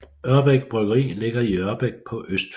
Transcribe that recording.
Ørbæk Bryggeri ligger i Ørbæk på Østfyn